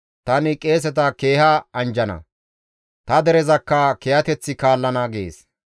Tani qeeseta keeha anjjana; ta derezakka kiyateththi kaallana» gees.